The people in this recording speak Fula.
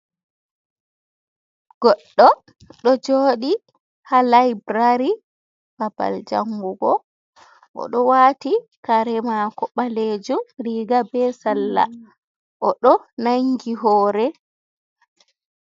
Goɗɗo ɗoo jooɗii ha laibrari, babal jangugo, oɗo wati kare mako baleejuum, riga be sarla oɗoo nangi hore.